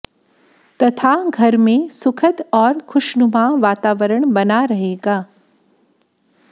तथा घर में सुखद और खुशनुमा वातावरण बना रहेगा